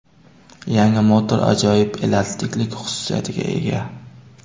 Yangi motor ajoyib elastiklik xususiyatiga ega.